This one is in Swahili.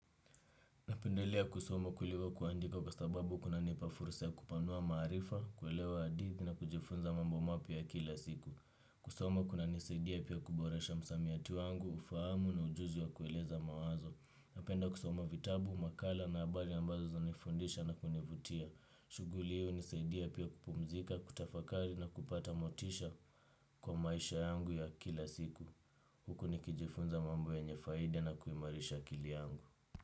Napendelea kusoma kuliko kuandika kwa sababu kunanipa fursa ya kupanua maarifa, kuelewa hadithi na kujifunza mambo mapya ya kila siku. Kusoma kunanisaidia pia kuboresha msamiatu wangu, ufahamu na ujuzi wa kueleza mawazo. Napenda kusoma vitabu, makala na habari ambazo zinanifundisha na kunivutia. Shughuli hiyo hunisaidia pia kupumzika, kutafakari na kupata motisha kwa maisha yangu ya kila siku. Huku nikijifunza mambo yenye faida na kuimarisha akili yangu.